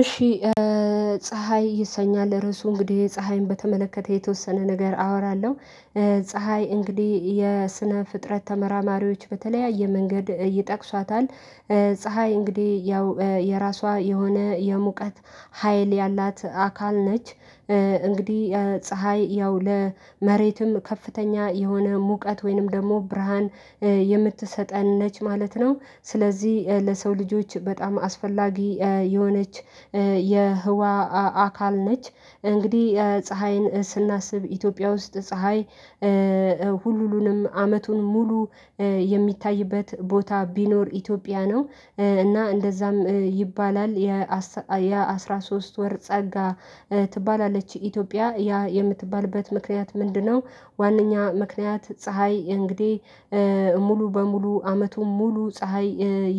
እሺ ፀሀይ ይሰኛል ርዕሱ እንግዲህ ፀሀይን በተመለከተ የተወሰነ ነገር አወራለሁ። ፀሀይ እንግዲህ የስነ ፍጥረት ተመራማሪዎች በተለያየ መንገድ ይጠቅሷታል። ፀሀይ እንግዲህ ያው የራሷ የሆነ የሙቀት ሀይል ያላት አካል ነች። እንግዲህ ፀሀይ ያው ለመሬትም ከፍተኛ የሆነ ሙቀት ወይንም ደግሞ ብርሃን የምትሰጠን ነች ማለት ነው ስለዚህ ለሰው ልጆች በጣም አስፈላጊ የሆነች የህዋ አካል ነች። እንግዲህ ፀሀይን ስናስብ ኢትዮጵያ ውስጥ ፀሀይ ሁሉንም አመቱን ሙሉ የሚታይበት ቦታ ቢኖር ኢትዮጵያ ነው እና እንደዛም ይባላል የአስራ ሶስት ወር ጸጋ ትባላለች ኢትዮጵያ ያ የምትባልበት ምክንያት ምንድነው? ዋናኛ ምክንያት ፀሀይ እንግዲህ ሙሉ በሙሉ አመቱ ሙሉ ፀሀይ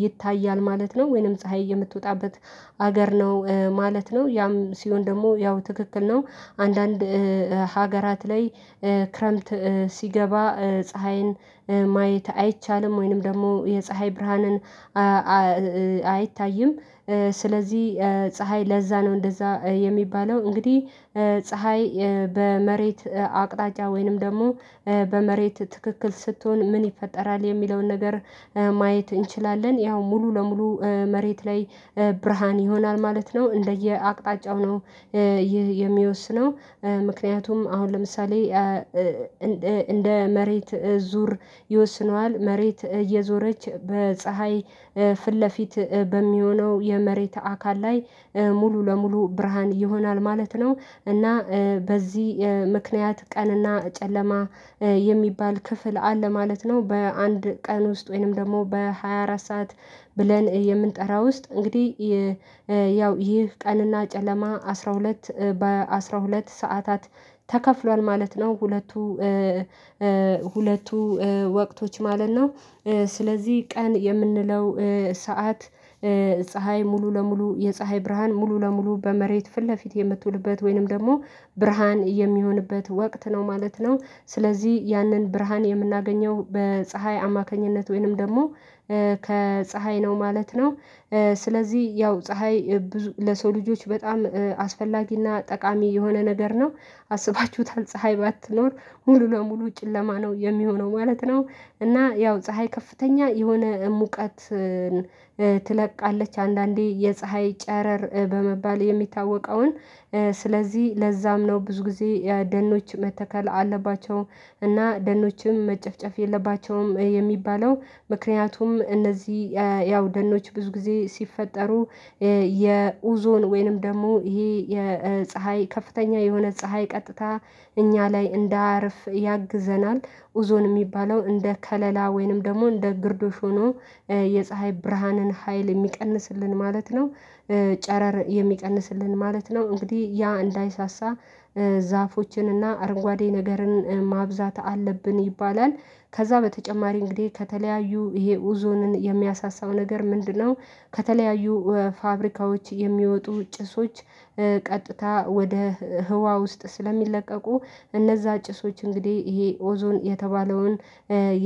ይታያል ማለት ነው ወይንም ፀሀይ የምትወጣበት ሀገር ነው ማለት ነው ያም ሲሆን ደግሞ ያው ትክክል ነው። አንዳንድ ሀገራት ላይ ክረምት ሲገባ ፀሀይን ማየት አይቻልም ወይንም ደግሞ የፀሀይ ብርሃንን አይታይም። ስለዚህ ፀሀይ ለዛ ነው እንደዛ የሚባለው እንግዲህ ፀሀይ በመሬት አቅጣጫ ወይንም ደግሞ በመሬት ትክክል ስትሆን ምን ይፈጠራል የሚለውን ነገር ማየት እንችላለን ያው ሙሉ ለሙሉ መሬት ላይ ብርሃን ይሆናል ማለት ነው እንደየአቅጣጫው ነው። ይህ የሚወስነው ምክንያቱም አሁን ለምሳሌ እንደ መሬት ዙር ይወስነዋል መሬት እየዞረች በፀሀይ ፊት ለፊት በሚሆነው የመሬት አካል ላይ ሙሉ ለሙሉ ብርሃን ይሆናል ማለት ነው እና በዚህ ምክንያት ቀንና ጨለማ የሚባል ክፍል አለ ማለት ነው በአንድ ቀን ውስጥ ወይንም ደግሞ በሃያ አራት ሰዓት ብለን የምንጠራ ውስጥ እንግዲህ ያው ይህ ቀንና ጨለማ አስራ ሁለት በአስራ ሁለት ሰዓታት ተከፍሏል ማለት ነው። ሁለቱ ወቅቶች ማለት ነው። ስለዚህ ቀን የምንለው ሰዓት ፀሀይ ሙሉ ለሙሉ የፀሀይ ብርሃን ሙሉ ለሙሉ በመሬት ፊት ለፊት የምትውልበት ወይንም ደግሞ ብርሃን የሚሆንበት ወቅት ነው ማለት ነው ስለዚህ ያንን ብርሃን የምናገኘው በፀሀይ አማካኝነት ወይንም ደግሞ ከፀሀይ ነው ማለት ነው። ስለዚህ ያው ፀሀይ ለሰው ልጆች በጣም አስፈላጊና ጠቃሚ የሆነ ነገር ነው። አስባችሁታል ፀሀይ ባትኖር ሙሉ ለሙሉ ጭለማ ነው የሚሆነው ማለት ነው። እና ያው ፀሀይ ከፍተኛ የሆነ ሙቀት ትለቃለች አንዳንዴ የፀሀይ ጨረር በመባል የሚታወቀውን ስለዚህ ለዛም ነው ብዙ ጊዜ የደኖች መተከል አለባቸው እና ደኖችም መጨፍጨፍ የለባቸውም የሚባለው ምክንያቱም እነዚህ ያው ደኖች ብዙ ጊዜ ሲፈጠሩ የኡዞን ወይንም ደግሞ ይሄ የፀሀይ ከፍተኛ የሆነ ፀሀይ ቀጥታ እኛ ላይ እንዳያርፍ ያግዘናል ኡዞን የሚባለው እንደ ከለላ ወይንም ደግሞ እንደ ግርዶሽ ሆኖ የፀሀይ ብርሃንን ሀይል የሚቀንስልን ማለት ነው። ጨረር የሚቀንስልን ማለት ነው እንግዲህ ያ እንዳይሳሳ እና አርጓዴ ነገርን ማብዛት አለብን ይባላል ከዛ በተጨማሪ እንግዲህ ከተለያዩ ይሄ ኡዞንን የሚያሳሳው ነገር ምንድነው? ከተለያዩ ፋብሪካዎች የሚወጡ ጭሶች ቀጥታ ወደ ህዋ ውስጥ ስለሚለቀቁ እነዛ ጭሶች እንግዲህ ይሄ ኦዞን የተባለውን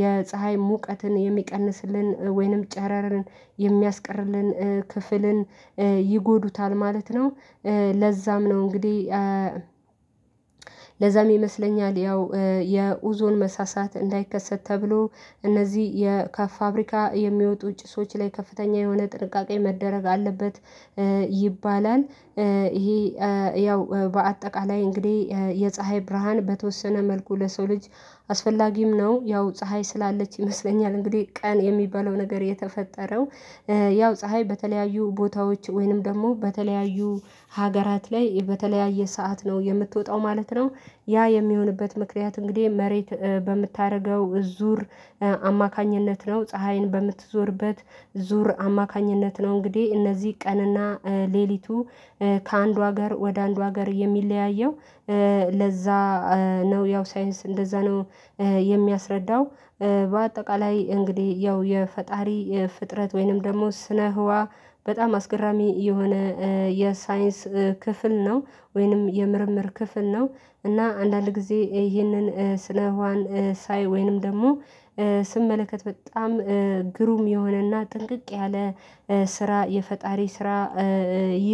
የፀሀይ ሙቀትን የሚቀንስልን ወይንም ጨረርን የሚያስቀርልን ክፍልን ይጎዱታል ማለት ነው። ለዛም ነው እንግዲህ ለዛም ይመስለኛል ያው የኡዞን መሳሳት እንዳይከሰት ተብሎ እነዚህ የካፍ የፋብሪካ የሚወጡ ጭሶች ላይ ከፍተኛ የሆነ ጥንቃቄ መደረግ አለበት ይባላል። ይሄ ያው በአጠቃላይ እንግዲህ የፀሀይ ብርሃን በተወሰነ መልኩ ለሰው ልጅ አስፈላጊም ነው ያው ፀሀይ ስላለች ይመስለኛል እንግዲህ ቀን የሚባለው ነገር የተፈጠረው ያው ፀሀይ በተለያዩ ቦታዎች ወይንም ደግሞ በተለያዩ ሀገራት ላይ በተለያየ ሰዓት ነው የምትወጣው ማለት ነው። ያ የሚሆንበት ምክንያት እንግዲህ መሬት በምታደርገው ዙር አማካኝነት ነው ፀሀይን በምትዞርበት ዙር አማካኝነት ነው እንግዲህ እነዚህ ቀንና ሌሊቱ ከአንዱ ሀገር ወደ አንዱ ሀገር የሚለያየው ለዛ ነው ያው ሳይንስ እንደዛ ነው። የሚያስረዳው በአጠቃላይ እንግዲህ ያው የፈጣሪ ፍጥረት ወይንም ደግሞ ስነ ህዋ በጣም አስገራሚ የሆነ የሳይንስ ክፍል ነው ወይንም የምርምር ክፍል ነው። እና አንዳንድ ጊዜ ይህንን ስለ ህዋን ሳይ ወይንም ደግሞ ስመለከት በጣም ግሩም የሆነና ጥንቅቅ ያለ ስራ የፈጣሪ ስራ